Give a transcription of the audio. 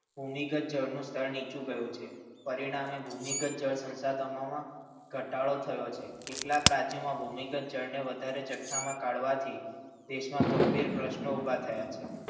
ભૂમિગત સ્થળનું સ્થાન નીચે ગયું છે પરિણામે ભૂમિગત જળ સંસાધનોના ઘટાડો થયો છે કેટલાક રાજ્યોમાં ભૂમિકત જળ વધારે જથ્થામાં કાઢવાથી દેશના ગંભીર પ્રશ્નો ઊભા થયા છે.